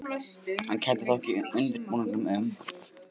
Hann kenndi þó ekki undirbúningnum um